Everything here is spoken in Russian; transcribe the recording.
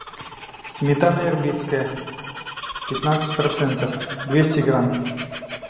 сметана ирбитская пятнадцать процентов двести грамм